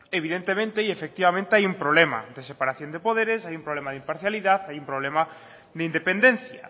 evidentemente y efectivamente hay un problema de separación de poderes hay un problema de imparcialidad hay un problema de independencia